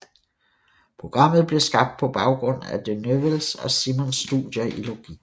Programmet blev skabt på baggrund af de Newells og Simons studier i logik